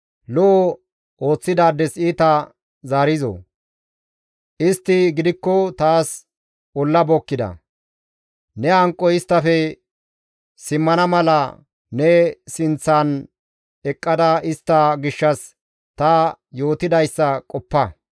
Lo7o ooththidaades iita zaarizoo? Istti gidikko taas olla bookkida; ne hanqoy isttafe simmana mala ne sinththan eqqada istta gishshas ta yootidayssa qoppa.